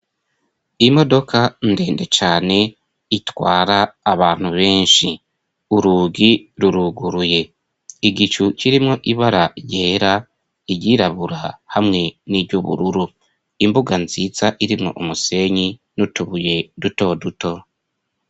Imodoka ndende cane itwara abantu benshi. Urugi ruruguruye. Igicu kirimwo ibara ryera, iryirabura hamwe n'iry'ubururu. Imbuga nziza irimwo umusenyi n'utubuye duto duto.